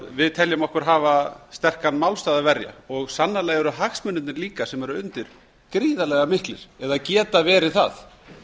við teljum okkur hafa sterkan málstað að verja og sannarlega eru hagsmunirnir sem eru undir líka gríðarlega miklir eða geta verið það